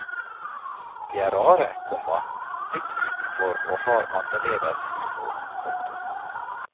De er rare, komma litt utenfor og har annerledes humor. punktum